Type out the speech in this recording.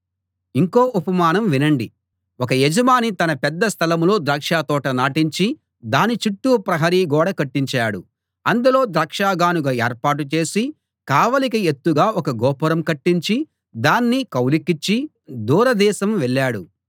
ఇంకో ఉపమానం వినండి ఒక యజమాని తన పెద్ద స్థలంలో ద్రాక్షతోట నాటించి దాని చుట్టూ ప్రహరీ గోడ కట్టించాడు అందులో ద్రాక్షగానుగ ఏర్పాటు చేసి కావలికి ఎత్తుగా ఒక గోపురం కట్టించి దాన్ని కౌలుకిచ్చి దూరదేశం వెళ్ళాడు